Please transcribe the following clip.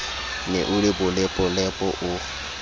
ne o le bolepolepo o